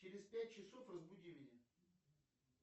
через пять часов разбуди меня